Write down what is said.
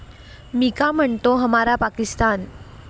मिका म्हणतो, 'हमारा पाकिस्तान'